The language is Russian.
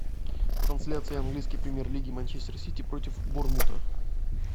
трансляция английской премьер лиги манчестер сити против борнмута